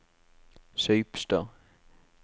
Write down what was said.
Saupstad